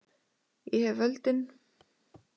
Ég hef völdin.